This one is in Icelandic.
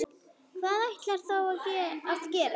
Hvað ætlarðu þá að gera?